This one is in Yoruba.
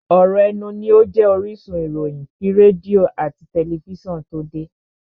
ọ̀ rọ̀ ẹnu ní ó jẹ́ orísun ìròyìn kí rédíò àti tẹlifísàn tó de.